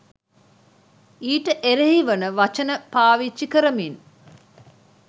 ඊට එරෙහි වන වචන පාවිච්චි කරමින්